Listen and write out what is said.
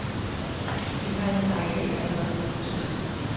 Det indhegnede areal er allerede godt besøgt.